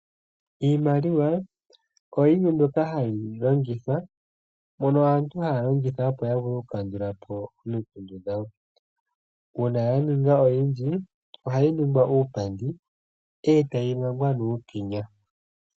Iimaliwa ohayi longithwa kaantu opo yavule okukandulapo omikundu dhawo. Uuna ya ninga oyindji ohayi ningwa uupandi etayi mangwa nuukenya.